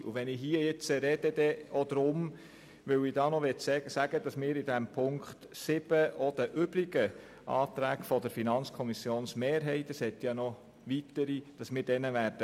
Ich möchte auch noch sagen, dass wir in diesem Themenblock 7 den übrigen Anträgen der FiKoMehrheit zustimmen werden.